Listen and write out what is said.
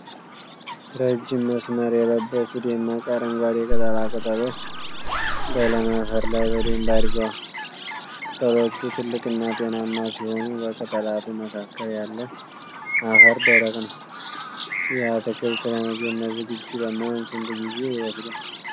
ረጅም መስመር የለበሱ ደማቅ አረንጓዴ ቅጠላ ቅጠሎች በለም አፈር ላይ በደንብ አድገዋል። ቅጠሎቹ ትልቅና ጤናማ ሲሆኑ፣ በቅጠላቱ መካከል ያለው አፈር ደረቅ ነው። ይህ አትክልት ለምግብነት ዝግጁ ለመሆን ስንት ጊዜ ይወስዳል?